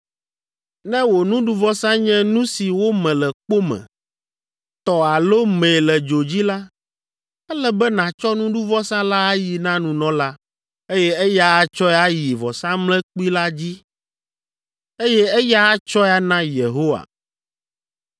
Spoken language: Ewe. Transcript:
Ne wò nuɖuvɔsa nye nu si wome le kpo me, tɔ alo mee le dzo dzi la, ele be nàtsɔ nuɖuvɔsa la ayi na nunɔla, eye eya atsɔe ayi vɔsamlekpui la dzi, eye eya atsɔe ana Yehowa.